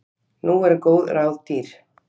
Nú eru góð ráð dýr!